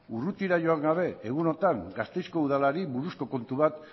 urrutira joan gabe egunotan gasteizko udalari buruzko kontu bat